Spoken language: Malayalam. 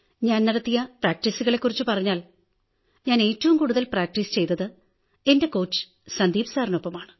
ഞാൻ നടത്തിയ പ്രാക്ടീസുകളെ ക്കുറിച്ചു പറഞ്ഞാൽ ഞാൻ ഏറ്റവും കൂടുതൽ പ്രാക്ടീസ് ചെയ്തത് എന്റെ കോച്ച് സന്ദീപ് സാറിനൊപ്പമാണ്